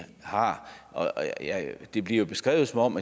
har det bliver beskrevet som om